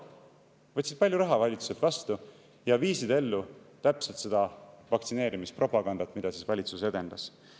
Võtsid valitsuselt vastu palju raha ja viisid ellu täpselt seda vaktsineerimispropagandat, mida valitsus edendas.